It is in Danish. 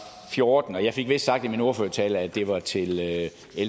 fjorten jeg fik vist sagt i min ordførertale at det var til l